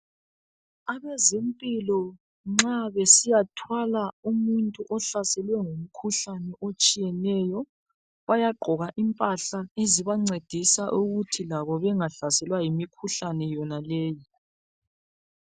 Abezempilo nxa besiyathwala umuntu ohlasele ngumkhuhlane otshiyeneyo, bayagqoka impanhla ezibancedisa ukuthi labo bengangenwa yimikhuhlane yonaleyi.